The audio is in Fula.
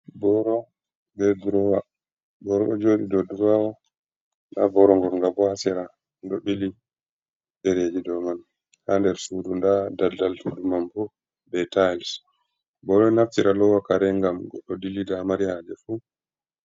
Boro be durowa. Boro ɗo joɗi dow durowa, nda boro ngonnga bo haa sera, ɗo ɓili ɗereeji do man haa nder sudu. Nda dalddal suudu man bo be tayls. Boro ɗo naftira lowa kare ngam goɗɗo dilida haa mari haaje fu.